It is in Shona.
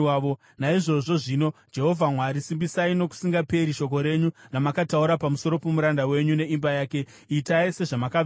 “Naizvozvo zvino, Jehovha Mwari, simbisai nokusingaperi shoko renyu ramakataura pamusoro pomuranda wenyu neimba yake. Itai sezvamakavimbisa,